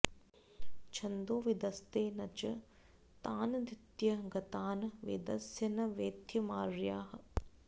छन्दोविदस्ते न च तानधीत्य गता न वेदस्य न वेद्यमार्याः